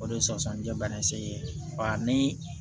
O de ye sɔsɔlijɛbana ye segi ba ni